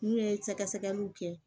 N'u ye sɛgɛsɛgɛliw kɛ